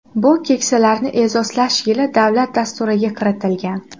Bu Keksalarni e’zozlash yili davlat dasturiga kiritilgan.